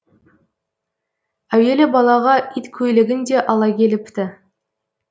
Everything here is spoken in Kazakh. әуелі балаға иткөйлегін де ала келіпті